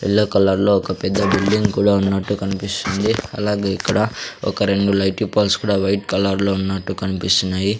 Yellow కలర్లో ఒక పెద్ద బిల్డింగ్ కూడా ఉన్నట్టు కన్పిస్తుంది అలాగే ఇక్కడ ఒక రెండు లైటిపాల్స్ కూడా వైట్ కలర్లో ఉన్నట్టు కన్పిస్తున్నాయి.